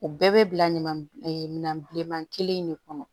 O bɛɛ bɛ bila ɲama minan bilenman kelen in de kɔnɔ